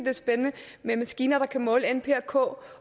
er spændende med maskiner der kan måle n p og k